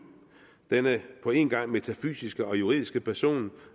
denne på en gang metafysiske og juridiske person